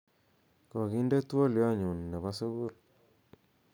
koginde twolyonyun nebo sugul